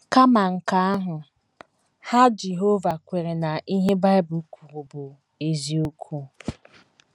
Kama nke ahụ, Ha Jehova kweere na ihe Bible kwuru bụ eziokwu.